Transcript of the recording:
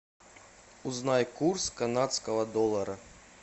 узнай курс канадского доллара